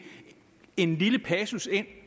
en lille passus ind